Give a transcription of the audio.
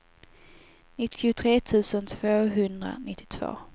nittiotre tusen tvåhundranittiotvå